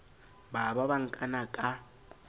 ba ba ba nkana ka